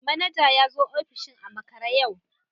Manaja ya zo ofishin a makare yau